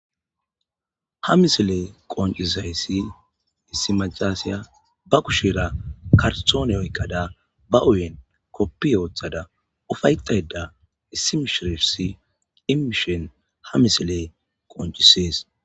ha misile qoncisayssi issi macasya ba kushira karsoone oyqqada ba uyen koppi ooththada ufaytayda issimishirisi imishon ha misile qoncisees